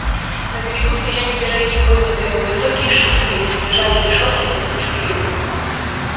на берегу стояли пироги поднятые на высокие шесты лежали решётки для сушки рыбы